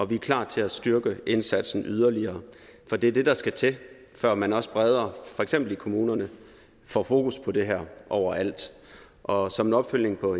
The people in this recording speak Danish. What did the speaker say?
vi er klar til at styrke indsatsen yderligere for det er det der skal til for at man også bredere for eksempel i kommunerne får fokus på det her overalt og som en opfølgning på